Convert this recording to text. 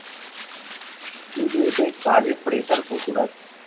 কিন্তু এতে কাজে pressure প্রচুর আছে